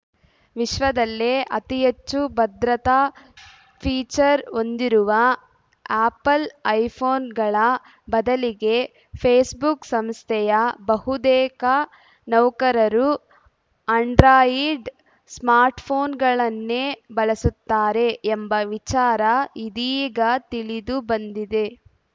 ವಿಶ್ವದಲ್ಲೇ ಅತಿಹೆಚ್ಚು ಭದ್ರತಾ ಫೀಚರ್‌ ಹೊಂದಿರುವ ಆ್ಯಪಲ್‌ ಐಫೋನ್‌ಗಳ ಬದಲಿಗೆ ಫೇಸ್‌ಬುಕ್‌ ಸಂಸ್ಥೆಯ ಬಹುತೇಕ ನೌಕರರು ಆಂಡ್ರಾಯಿಡ್‌ ಸ್ಮಾರ್ಟ್‌ಫೋನ್‌ಗಳನ್ನೇ ಬಳಸುತ್ತಾರೆ ಎಂಬ ವಿಚಾರ ಇದೀಗ ತಿಳಿದುಬಂದಿದೆ